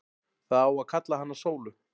Það á að kalla hana Sólu.